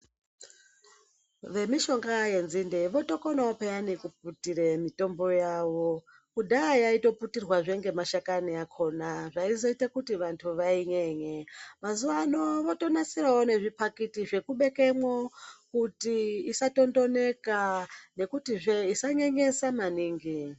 Vemishonga yenzinde votokonawo pheyani kuputire mitombo yavo. Kudhaya yaitoputirwazve ngemashakani akhona zvaizoita kuti vantu vainyenye. Mazuvano votonasirawo nezviphakiti zvekubekemo kuti isatondoreka nekutizve isasemesa maningi.